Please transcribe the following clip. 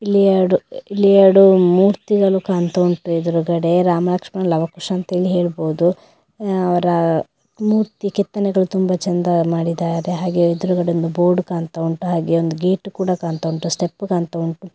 ಇಲ್ಲಿ ಎರಡು ಎರಡು ಮೂರ್ತಿಗಳು ಕಾಣ್ತಾ ಉಂಟು ಎದ್ರುಗಡೆ ರಾಮ ಲಕ್ಷ್ಮಣ ಲವ ಕುಶ ಅಂತ ಹೇಳಿ ಹೇಳ್ಬೋದು ಅವ್ರ ಮೂರ್ತಿ ಕೆತ್ತನೆಗಳ್ ತುಂಬ ಚೆಂದ ಮಾಡಿದರೆ ಹಾಗೆ ಎದ್ರುಗಡೆ ಒಂದು ಬೋರ್ಡ್ ಕಾಣ್ತಾ ಉಂಟು ಹಾಗೆ ಒಂದು ಗೇಟ್ ಕೂಡ ಕಾಣ್ತಾ ಉಂಟು ಸ್ಟೆಪ್ ಕಾಣ್ತಾ ಉಂಟು .